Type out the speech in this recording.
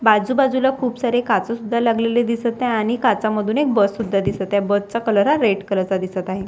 बाजू बाजूला खूप सारे काच सुद्धा लागलेले दिसत आहे आणि काचा मधून एक बस सुद्धा दिसते आहे बसचा कलर हा रेड कलरचा दिसत आहे.